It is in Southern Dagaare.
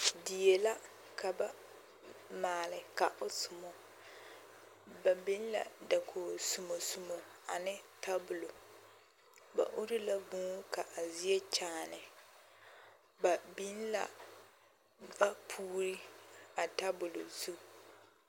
Die la ka ba maale ka o somɔ, ba biŋ la dakogi somo somo ane tabulo, ba uri la vūū ka a zie kyaane, ba biŋ la vapuuri a tabol zu.